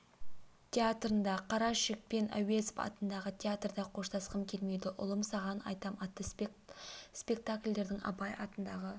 театрында қара шекпен әуезов атындағы театрда қоштасқым келмейді ұлым саған айтам атты спектакльдердің абай атындағы